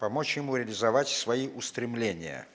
помочь ему реализовать свои устремления